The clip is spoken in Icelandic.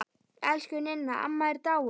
Elsku Ninna amma er dáin.